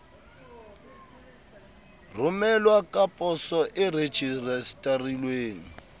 romelwa ka poso e rejistarilweng